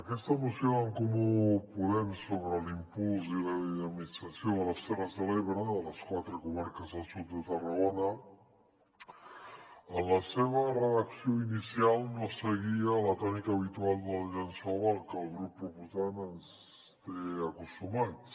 aquesta moció d’en comú po·dem sobre l’impuls i la dinamització de les terres de l’ebre de les quatre comar·ques del sud de tarragona en la seva redacció inicial no seguia la tònica habitual del llençol a la que el grup proposant ens té acostumats